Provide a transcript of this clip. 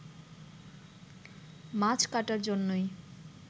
মাছ কাটার জন্যই